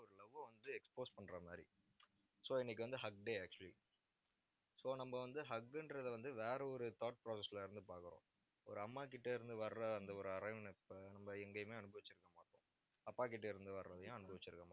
ஒரு love அ வந்து, expose பண்ற மாதிரி. so இன்னைக்கு வந்து, hug day actually so நம்ம வந்து, hug ன்றதை வந்து, வேற ஒரு thought process ல இருந்து பார்க்கிறோம். ஒரு அம்மா கிட்ட இருந்து வர்ற, அந்த ஒரு அரவணைப்பு நம்ம எங்கேயுமே அனுபவிச்சிருக்கமாட்டோம் அப்பாகிட்ட இருந்து வர்றதையும் அனுபவிச்சிருக்கமாட்டோம்